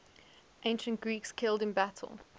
ancient greeks killed in battle